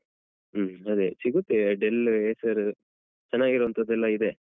ಹ್ಮ ಅದೇ ಸಿಗುತ್ತೆ Dell, Acer ಚೆನ್ನಾಗಿರುವಂತದ್ದೆಲ್ಲ ಇದೆ.